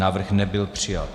Návrh nebyl přijat.